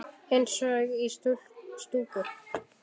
Eins og í stúku.